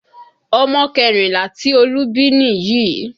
Ọmọ kẹrìnlá tí Olú bí nìyí